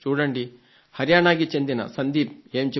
హరియాణాకి చెందిన శ్రీ సందీప్ ఏం చెబుతున్నాడో